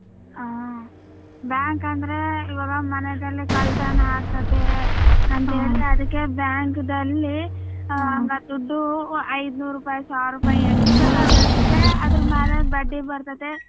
ಹಾ bank ಅಂದ್ರೆ ಇವಾಗ ಮನೆದಲ್ಲಿ ಕಳ್ಳತನ ಆಗತೈತೆ ಅಂತೇಳಿ ಅದಿಕ್ಕೆ bank ದಲ್ಲಿ ದುಡ್ಡು ಐದ್ನೂರ್ ರೂಪಾಯಿ ಸಾವ್ರ್ ರೂಪಾಯಿ ಎಷ್ಟು ಬೇಕು ಅಷ್ಟು ಇದೆ ಅದರ ಮ್ಯಾಲ ಬಡ್ಡಿ ಬರ್ತದೆ.